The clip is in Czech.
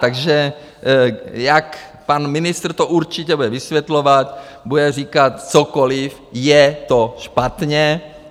Takže jak pan ministr to určitě bude vysvětlovat, bude říkat cokoliv, je to špatně.